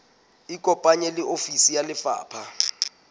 ikopanye le ofisi ya lefapha